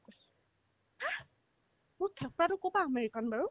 মোৰ থোপৰাতো ক'ৰ পৰা আমেৰিকান বাৰু